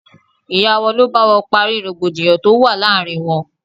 Ìyá wọn ló bá wọn parí rògbòdìyàn tó wà láàárín wọn.